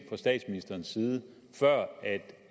statsministerens side før